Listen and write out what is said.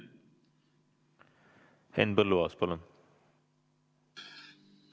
Henn Põlluaas, palun!